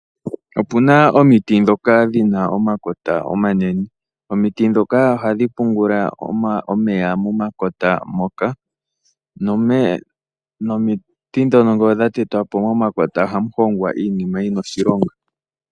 Opuna omiti ndhoka dhina omakota omanene nohadhi pungula omeya momakota moka. Ngele dha tetwapo momakota ohamu hongwa iinima yina oshilonga.